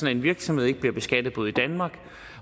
at en virksomhed ikke bliver beskattet både i danmark